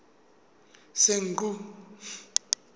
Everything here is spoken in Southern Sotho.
senqu